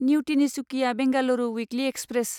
new Tinsukia Bengaluru weekly express